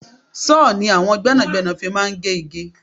Sọ ni àwọn gbẹ́nàgbẹ́nà fi máa ń gé igi.